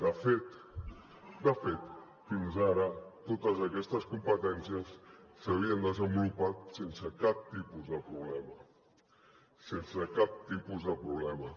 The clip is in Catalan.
de fet fins ara totes aquestes competències s’havien desenvolupat sense cap tipus de problema sense cap tipus de problema